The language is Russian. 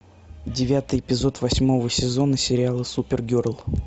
девятый эпизод восьмого сезона сериала супергерл